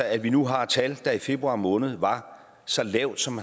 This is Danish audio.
at vi nu har et tal der i februar måned var så lavt som